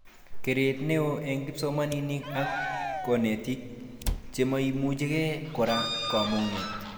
Keret neo eng kipsomamink ak konetik chemaimuchike kora komagat